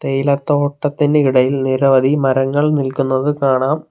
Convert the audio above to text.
തേയില തോട്ടത്തിൻ്റെ ഇടയിൽ നിരവധി മരങ്ങൾ നിൽക്കുന്നത് കാണാം.